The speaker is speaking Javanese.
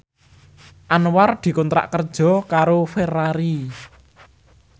Anwar dikontrak kerja karo Ferrari